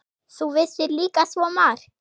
Þú vissir líka svo margt.